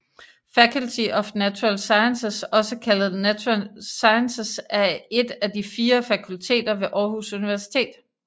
Faculty of Natural Sciences også kaldet Natural Sciences er et af de fire fakulteter ved Aarhus Universitet